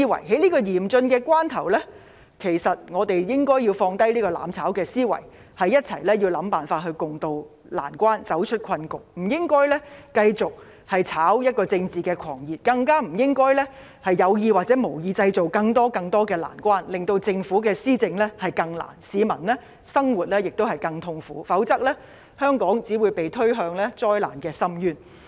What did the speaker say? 在這麼嚴峻的關頭，其實我們應該放下"攬炒"思維，一起想辦法共渡難關，走出困局，不應該繼續"炒政治狂熱"，更不應該有意或無意製造更多、更多的難關，令政府的施政更困難，亦令市民的生活更痛苦，否則香港只會被推向災難的深淵。